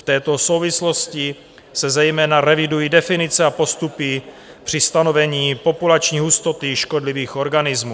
V této souvislosti se zejména revidují definice a postupy při stanovení populační hustoty škodlivých organismů.